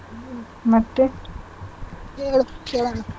ಮತ್ತೆ ಹೇಳ್ ಕೇಳಾಣ.